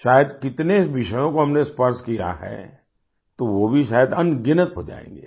शायद कितने विषयों को हमने स्पर्श किया है तो वो भी शायद अनगिनत हो जायेंगे